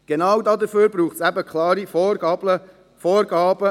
Genau dafür braucht es klare Vorgaben und Regeln.